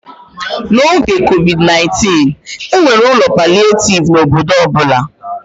N'oge COVID-19, e nwere ụlọ palịetivu n'obodo ọ bụla.